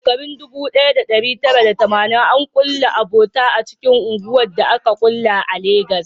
A shekarun 1980, an kulla abota a cikin unguwannin da aka ƙulla a Legas.